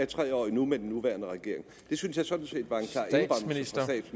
tre år endnu med den nuværende regering det synes jeg sådan set var